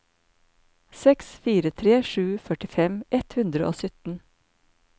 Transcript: seks fire tre sju førtifem ett hundre og sytten